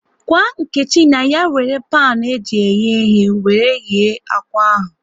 Gwa Nkechi na ya wéré panu eji eghe ighe wéré ghee akwa ahụ